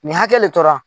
Nin hakɛ de tora